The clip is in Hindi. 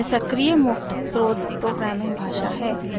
यह सक्रिय मुक्त स्रोत प्रोग्रामिंग भाषा है